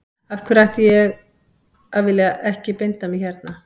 Af hverju ætti ég að vilja ekki binda mig hérna.